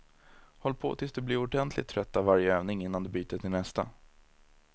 Håll på tills du blir ordentligt trött av varje övning innan du byter till nästa.